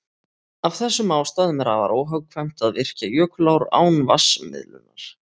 Af þessum ástæðum er afar óhagkvæmt að virkja jökulár án vatnsmiðlunar.